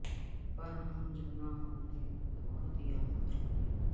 پر ہم جو نہ ہوں گے تو بہت یاد کرو گے